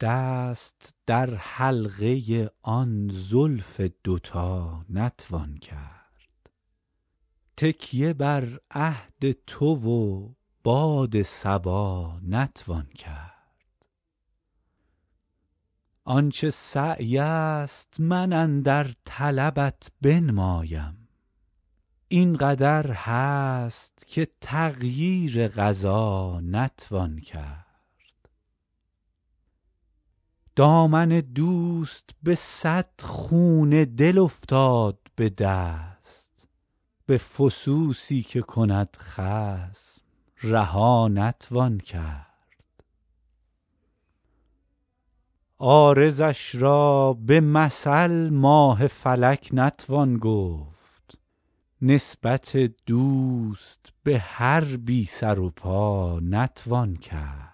دست در حلقه آن زلف دوتا نتوان کرد تکیه بر عهد تو و باد صبا نتوان کرد آن چه سعی است من اندر طلبت بنمایم این قدر هست که تغییر قضا نتوان کرد دامن دوست به صد خون دل افتاد به دست به فسوسی که کند خصم رها نتوان کرد عارضش را به مثل ماه فلک نتوان گفت نسبت دوست به هر بی سر و پا نتوان کرد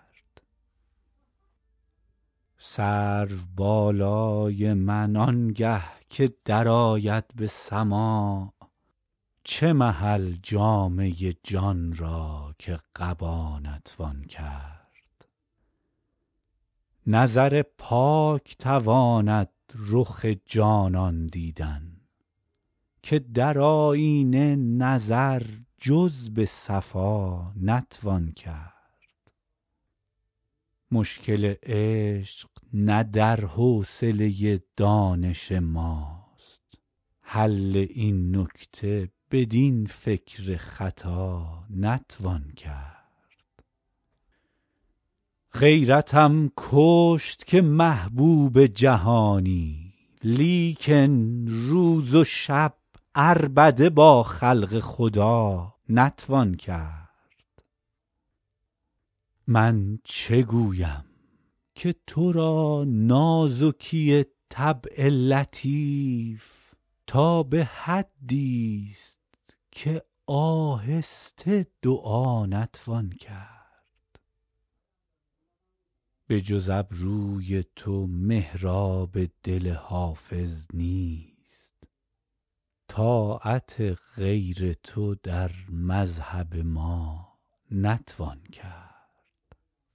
سرو بالای من آنگه که درآید به سماع چه محل جامه جان را که قبا نتوان کرد نظر پاک تواند رخ جانان دیدن که در آیینه نظر جز به صفا نتوان کرد مشکل عشق نه در حوصله دانش ماست حل این نکته بدین فکر خطا نتوان کرد غیرتم کشت که محبوب جهانی لیکن روز و شب عربده با خلق خدا نتوان کرد من چه گویم که تو را نازکی طبع لطیف تا به حدیست که آهسته دعا نتوان کرد بجز ابروی تو محراب دل حافظ نیست طاعت غیر تو در مذهب ما نتوان کرد